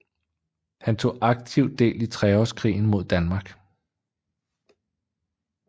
Han tog aktivt del i treårskrigen mod Danmark